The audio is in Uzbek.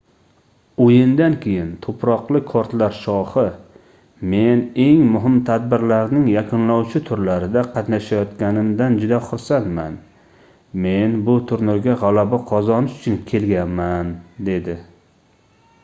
oʻyindan keyin tuproqli kortlar shohi men eng muhim tadbirlarning yakunlovchi turlarida qatnashayotganimdan juda xursandman men bu turnirga gʻalaba qozonish uchun kelganman dedi